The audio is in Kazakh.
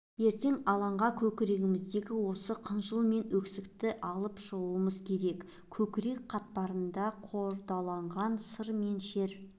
ертең алаңға көңіліміздегі осы қыжыл мен өксікті алып шығуымыз керек көкірек қатпарында қордаланған сыр мен шер